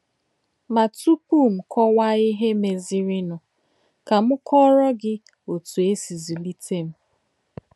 Mà túpù m kọ̀wá ìhè mézìrìnù, kà m kọ̀rò gị̀ òtú è sì zùlítè m.